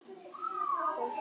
Tökum dæmi: